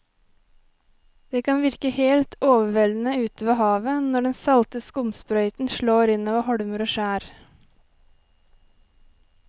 Det kan virke helt overveldende ute ved havet når den salte skumsprøyten slår innover holmer og skjær.